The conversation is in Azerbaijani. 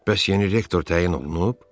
Bəs yeni rektor təyin olunub?